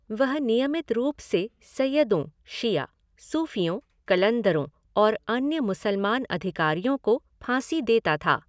वह नियमित रूप से सय्यदों शिया , सूफियों, कलंदरों और अन्य मुसलमान अधिकारियों को फाँसी देता था।